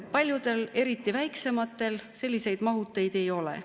Paljudel, eriti väiksematel, selliseid mahuteid ei ole.